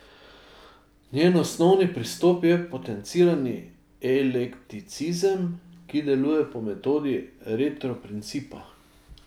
Njen osnovni pristop je potencirani eklekticizem, ki deluje po metodi retroprincipa.